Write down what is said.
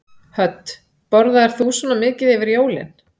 Hödd: Borðaðir þú svona mikið yfir jólin?